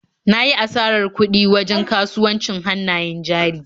Na yi asarar kuɗi wajen kasuwancin hannayen jari.